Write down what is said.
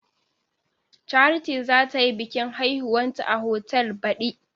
Charity za ta yi biƙin haihuwanta a otal baɗi.